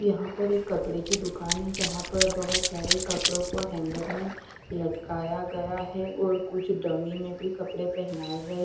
यहाँ पर एक कपड़े कि दुकान हैं जहाँ पर बहुत सारे कपड़ो को हैंगर में लटकाया गया है और कुछ डमी में भी कपडे पहनाए गये --